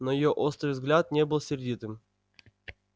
но её острый взгляд не был сердитым